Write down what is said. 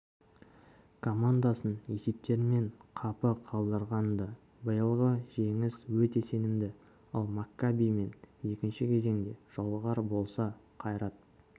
командасын есептерімен қапы қалдырған-ды биылғы жеңіс өте сенімді ал маккабимен екінші кезеңде жолығар болса қайрат